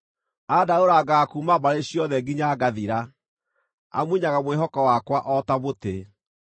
Andarũrangaga kuuma mbarĩ ciothe nginya ngathira; amunyaga mwĩhoko wakwa o ta mũtĩ.